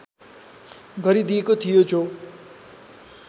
गरिदिएको थियो जो